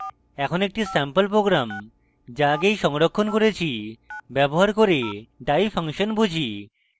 এখন একটি sample program যা আগেই সংরক্ষণ করেছি ব্যবহার করে die ফাংশন বুঝি